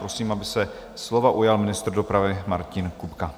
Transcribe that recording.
Prosím, aby se slova ujal ministr dopravy Martin Kupka.